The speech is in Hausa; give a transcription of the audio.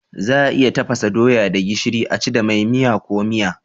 Za a iya tafasa doya da gishiri a ci da mai, miya ko miya.